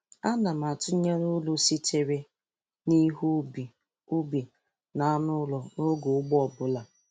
Ana m atụnyere uru sitere n'ihe ubi ubi na anụ ụlọ n'oge ugbo ọbụla